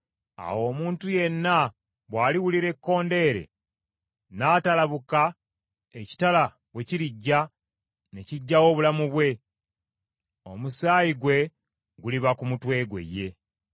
awo omuntu yenna bw’aliwulira ekkondeere n’atalabuka ekitala bwe kirijja ne kigyawo obulamu bwe, omusaayi gwe guliba ku mutwe gwe ye.